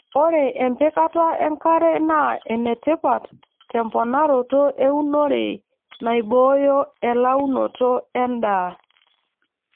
ore empikata enkare naa enetipat te mponaroto eeunore naibooyo elaunoto edaa